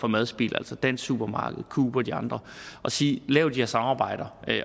madspild altså dansk supermarked coop og de andre og sige lav de her samarbejder